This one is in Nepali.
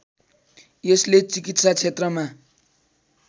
यसले चिकित्सा क्षेत्रमा